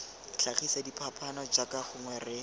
tlhagisa diphapaano jaaka gongwe re